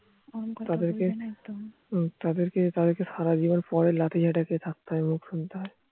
তাদেরকে তাদেরকে সারাজীবন পরের লাঠি ঝাঁটা খেয়ে থাকতে হয় মুখ শুনতে হয়